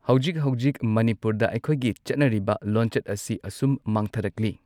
ꯍꯧꯖꯤꯛ ꯍꯧꯖꯤꯛ ꯃꯅꯤꯄꯨꯔꯗ ꯑꯩꯈꯣꯏꯒꯤ ꯆꯠꯅꯔꯤꯕ ꯂꯣꯟꯆꯠ ꯑꯁꯤ ꯑꯁꯨꯝ ꯃꯥꯡꯊꯔꯛꯂꯤ꯫